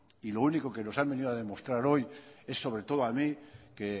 y lo único que nos han venido a demostrar hoy es sobre todo a mí que